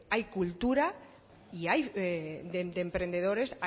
hay cultura y hay de emprendedores